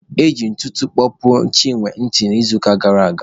E ji ntụtụ kpọpuo Chinwe ntị n'izuụka gara aga.